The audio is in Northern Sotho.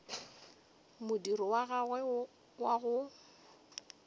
modiro wa gagwe wa go